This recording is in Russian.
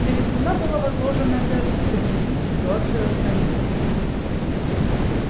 на визгуна была возложена обязанность объяснить ситуацию остальным